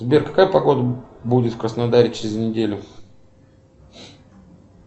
сбер какая погода будет в краснодаре через неделю